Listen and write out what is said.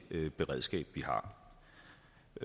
beredskab vi har